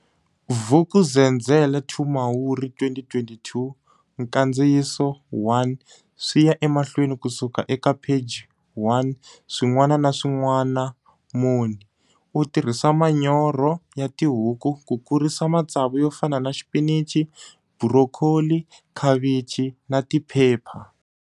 Vuk'uzenzele 2 Mhawuri 2022 Nkandziyiso 1 Swi ya emahlweni ku suka ekapheji 1 SWIN'WANA NA SWIN'WANAmoni. U tirhisa manyoro ya tihuku ku kurisa matsavu yo fana na xipinichi, burokholi, khavichi na tiphepha.